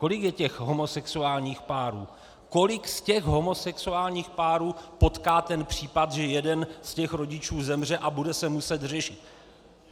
Kolik je těch homosexuálních párů, kolik z těch homosexuálních párů potká ten případ, že jeden z těch rodičů zemře a bude se muset řešit?